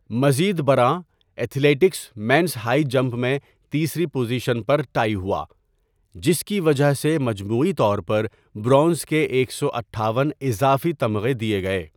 مزید برآں، athletics men's high jump میں تیسری پوزیشن پر ٹائی ہوا، جس کی وجہ سے مجموعی طور پر برونز کے ایک سو اٹھاون اضافی تمغے دیے گئے۔